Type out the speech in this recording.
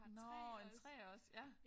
Nåh en 3'er også ja